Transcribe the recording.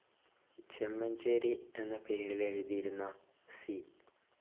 ചെമൻചേരി എന്ന പേരിലെഴുതിയിരുന്ന സി.